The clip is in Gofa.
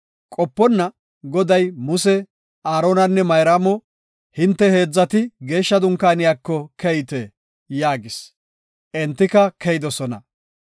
Qoponna Goday Muse, Aaronanne Mayraamo, “Hinte heedzati Geeshsha Dunkaaniyako keyte” yaagis. Entika keyidosona.